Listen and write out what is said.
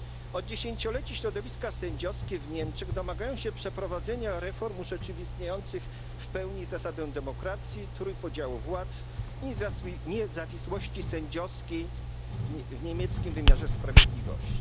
Od dziesięcioleci środowiska sędziowskie w Niemczech domagają się przeprowadzenia reform urzeczywistniających w pełni zasadę demokracji, trójpodziału władz i niezawisłości sędziowskiej w niemieckim wymiarze sprawiedliwości.